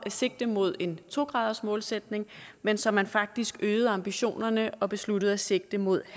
sigte mod en to gradersmålsætning men så man faktisk øgede ambitionerne og besluttede at sigte mod